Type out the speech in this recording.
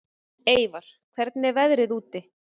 Eyvar, hvernig er veðrið úti?